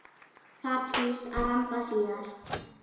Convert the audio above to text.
Þar kýs að ramba síðast.